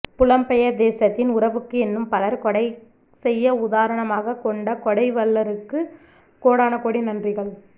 புலம் பெயர் தேசத்தின் உறவுக்கு என்னும் பலர் கொடை செய்ய உதாரணமாக கொண்ட கொடை வள்ளருக்கு கோடான கோடி நன்றிகள்